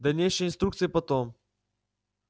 дальнейшие инструкции потом